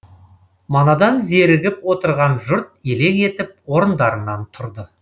манадан зерігіп отырған жұрт елең етіп орындарынан тұрды